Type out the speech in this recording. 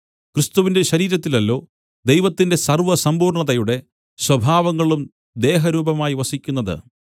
ക്രിസ്തുവിന്‍റെ ശരീരത്തിലല്ലോ ദൈവത്തിന്റെ സർവ്വസമ്പൂർണ്ണതയുടെ സ്വഭാവങ്ങളും ദേഹരൂപമായി വസിക്കുന്നത്